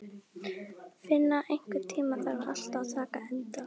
Finna, einhvern tímann þarf allt að taka enda.